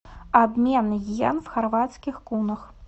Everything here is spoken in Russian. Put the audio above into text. обмен йен в хорватских кунах